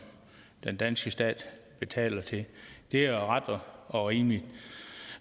den danske stat betaler til det er ret og rimeligt